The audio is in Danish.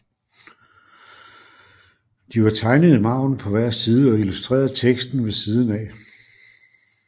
De var tegnet i margenen på hver side og illustrerede teksten ved siden af